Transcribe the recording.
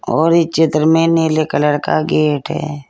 और इस चित्र में नीले कलर का गेट है।